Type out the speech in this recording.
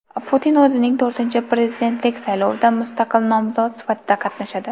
Putin o‘zining to‘rtinchi prezidentlik saylovida mustaqil nomzod sifatida qatnashadi.